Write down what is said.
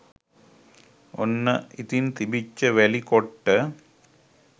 ඔන්න ඉතින් තිබිච්ච වැලි කොට්ට